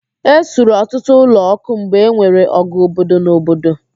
Ẹ suru ọtụtụ ụlọ ọkụ mgbe enwere ọgụ obodo na obodo